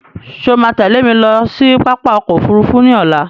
Ṣé o máa tẹ́lẹ̀ mi lọ sí pápá ọkọ òfúrúúfú ní ọ̀la?